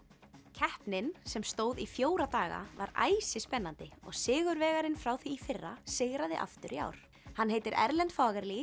keppnin sem stóð í fjóra daga var æsispennandi og sigurvegarinn frá því í fyrra sigraði aftur í ár hann heitir Erlend